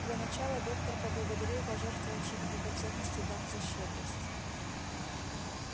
для начала доктор поблагодарил пожертвовавших драгоценности дам за щедрость